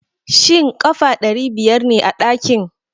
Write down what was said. Shin ƙafa ɗari biyar ne ɗakin?